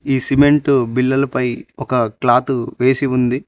ఈ సిమెంటు బిల్లలు పై ఒక క్లాతు వేసి ఉంది.